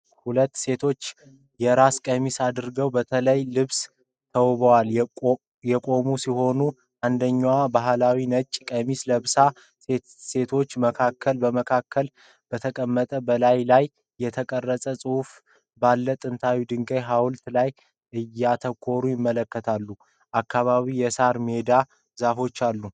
ሁለት ሴቶች የራስ ቀሚስ አድርገው በተለያየ ልብስ ተዋበው የቆሙ ሲሆን፣ አንደኛዋ ባህላዊ ነጭ ቀሚስ ለብሳለች። ሴቶቹ በመካከል በተቀመጠው፣ በላዩ ላይ የተቀረጸ ጽሑፍ ባለው ጥንታዊ የድንጋይ ሐውልት ላይ እያተኮሩ ይመለከታሉ። አካባቢው የሳር ሜዳና ዛፎች አሉት።